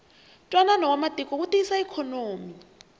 ntwanano wa matiko wu tiyisa ikhonomi